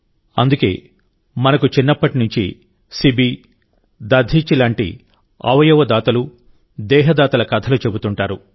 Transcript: అందుకే మనకు చిన్నప్పటి నుంచి శిబి దధీచి లాంటి అవయవదాతలు దేహదాతల కథలు చెబుతుంటారు